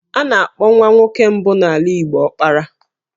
A na-akpọ nwa nwoke mbụ n'ala Igbo 'Ọkpara'.